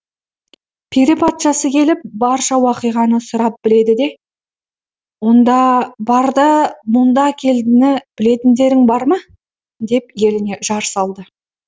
пері патшасы келіп барша уақиғаны сұрап біледі де онда бар да мұнда әкелдіні білетіндерің бар ма деп еліне жар салды